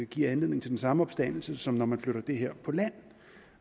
give anledning til den samme opstandelse som når man flytter det her på land